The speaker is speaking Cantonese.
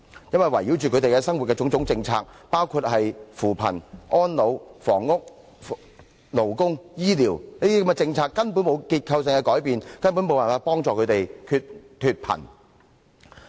因為圍繞他們生活的種種政策，包括扶貧、安老、房屋、勞工和醫療等政策根本沒有結構性改變，無助他們脫貧。